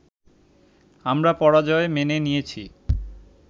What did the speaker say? আমরা পরাজয় মেনে নিয়েছি